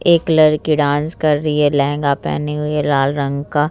एक लड़की डांस कर रही है लहंगा पहनी हुई है लाल रंग का।